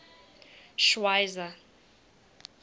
schweizer